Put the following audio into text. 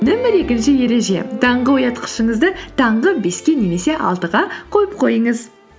нөмір екінші ереже таңғы оятқышыңызды таңғы беске немесе алтыға қойып қойыңыз